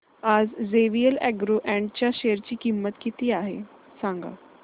आज JVL agro ind च्या share ची किंमत किती आहे सांगा